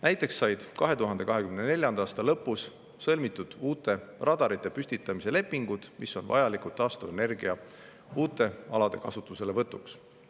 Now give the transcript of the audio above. Näiteks said 2024. aasta lõpus sõlmitud uute radarite püstitamise lepingud, mis on vajalikud taastuvenergia uute alade kasutuselevõtuks.